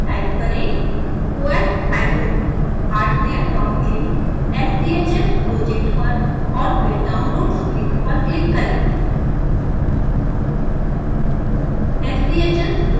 address bar में type करें oshardwarein sbhs project पर और फिर dpwnloads लिंक पर क्लिक करें